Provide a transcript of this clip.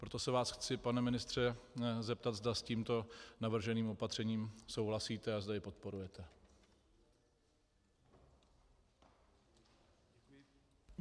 Proto se vás chci, pane ministře, zeptat, zda s tímto navrženým opatřením souhlasíte a zda jej podporujete.